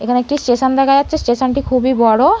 এখানে একটি স্টেশন দেখা যাচ্ছে। স্টেশন টি খুবই বড়।